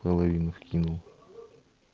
половину скинул